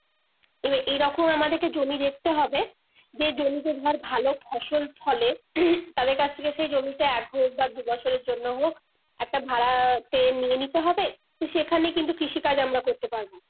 এ~এরকম আমাদিকে জমি দেখতে হবে যেই জমিতে ধর ভালো ফসল ফলে তাদের কাছে থেকে সেই জমিটা এক হোক বা দুবছরের জন্য হোক একটা ভাড়াতে নিয়ে নিতে হবে তো সেখানে কিন্তু কৃষি কাজ আমরা করতে পারবো